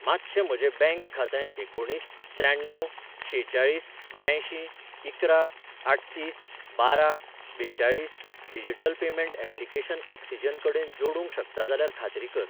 मातशें म्हजें बँक खातें एकुणीस त्र्याण्णव शेचाळीस ब्यांयशीं इकरा आठतीस बारा बेचाळीस डिजिटल पेमेंट ऍप्लिकेशन ऑक्सिजन कडेन जोडूंक शकता जाल्यार खात्री कर.